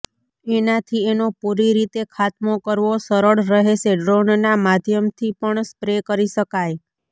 એનાથી એનો પૂરી રીતે ખાતમો કરવો સરળ રહેશે ડ્રોનના માધ્યમથી પણ સ્પ્રે કરી શકાય